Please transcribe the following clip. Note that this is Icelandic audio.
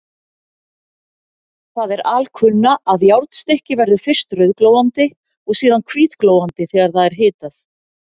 Það er alkunna, að járnstykki verður fyrst rauðglóandi og síðan hvítglóandi þegar það er hitað.